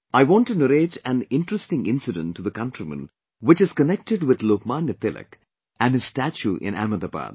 I want to narrate an interesting incident to the countrymen which is connected with Lok Manya Tilak and his statue in Ahmedabad